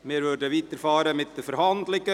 Wir fahren weiter mit den Verhandlungen.